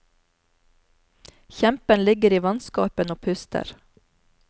Kjempen ligger i vannskorpen og puster.